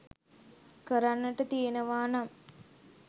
කරන්නට තියෙනවා නම්